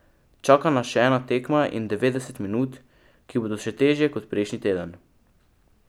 Čaka nas še ena tekma in devetdeset minut, ki bodo še težje kot prejšnji teden.